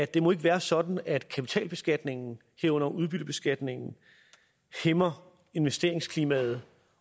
det må ikke være sådan at kapitalbeskatningen herunder udbyttebeskatningen hæmmer investeringsklimaet